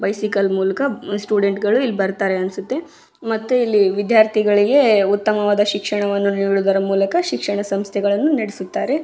Bicycle ಮೂಲಕ student ಗಳು ಇಲ್ಲಿ ಬರ್ತಾರೆ ಅನ್ಸುತ್ತೆ ಮತ್ತೆ ಇಲ್ಲಿ ವಿದ್ಯಾರ್ಥಿಗಳಿಗೆ ಉತ್ತಮವಾದ ಶಿಕ್ಷಣವನ್ನು ಹೇಳುವುದರ ಮೂಲಕ ಶಿಕ್ಷಣ ಸಂಸ್ಥೆಗಳನ್ನು ನಡೆಸುತ್ತಾರೆ.